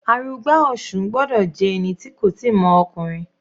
Arugba Osun gbọ́dọ̀ jẹ́ ẹni tí kò tíì mọ ọkùnrin.